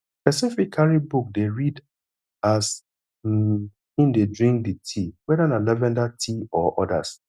person fit carry book dey read as um im dey drink di tea weda na lavender tea or odas